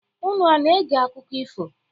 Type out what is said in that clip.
Unu ana-ege akụkọ ifo?